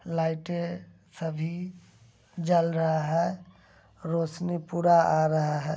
लाइटे सभी जल रहा है । रोसनी पूरा आ रहा है ।